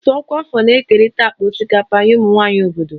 Òtù ọkwa afọ na-ekerịta akpa osikapa nye ụmụ nwanyị obodo